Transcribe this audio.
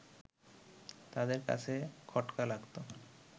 তাদের কাছে খটকা লাগত